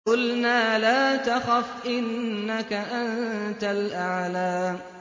قُلْنَا لَا تَخَفْ إِنَّكَ أَنتَ الْأَعْلَىٰ